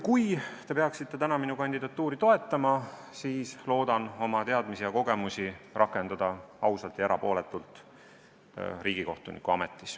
Kui te peaksite täna minu kandidatuuri toetama, siis loodan oma teadmisi ja kogemusi riigikohtuniku ametis rakendada ausalt ja erapooletult.